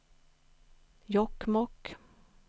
Jokkmokk